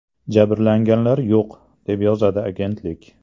Jabrlanganlar yo‘q”, deb yozadi agentlik.